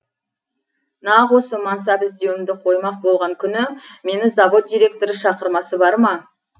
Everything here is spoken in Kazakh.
нақ осы мансап іздеуімді қоймақ болған күні мені завод директоры шақырмасы барма